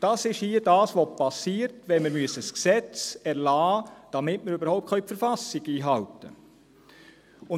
Dies ist es, was hier geschieht, wenn wir ein Gesetz erlassen, damit wir die Verfassung überhaupt einhalten können.